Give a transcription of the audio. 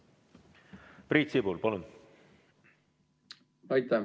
Priit Sibul, palun!